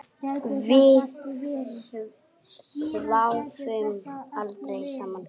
Við sváfum aldrei saman.